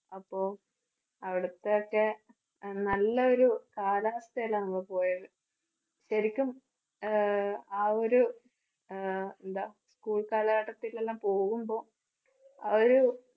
അപ്പോ അവിടുത്തെ ഒക്കെ നല്ല ഒരു കാലവസ്ഥയിലാ നമ്മൾ പോയത്. ശരിക്കും ആഹ് ആ ഒരു ആഹ് എന്താ school കാലഘട്ടത്തിലെല്ലാം പോകുമ്പോ, ആ ഒരു